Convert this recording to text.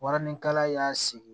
Warinikala y'a sigi